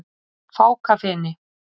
Fákafeni